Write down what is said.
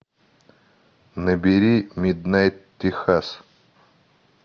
набери миднайт техас